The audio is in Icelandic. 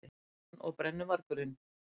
Hann og brennuvargurinn.